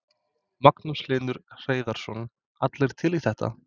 Magnús Hlynur Hreiðarsson: Allir til í þetta?